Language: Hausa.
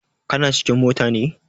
Kana cikin mota ne?